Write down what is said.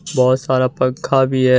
बहोत सारा पंखा भी है।